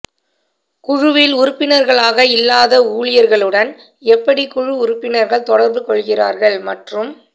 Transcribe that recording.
குழுவில் உறுப்பினர்களாக இல்லாத ஊழியர்களுடன் எப்படி குழு உறுப்பினர்கள் தொடர்பு கொள்கிறார்கள் மற்றும்